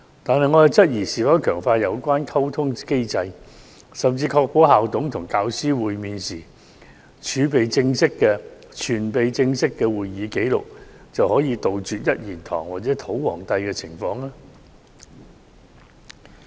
但是，我質疑是否強化有關溝通機制，甚至確保校董與教師會面時存備正式會議紀錄，便可杜絕"一言堂"或"土皇帝"的情況。